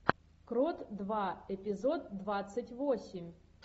крот два эпизод двадцать восемь